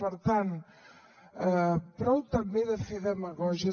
per tant prou també de fer demagògies